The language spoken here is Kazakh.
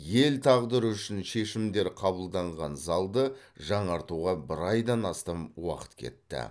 ел тағдыры үшін шешімдер қабылданған залды жаңартуға бір айдан астам уақыт кетті